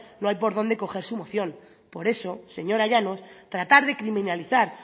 no hay por dónde coger su moción por eso señora llanos tratar de criminalizar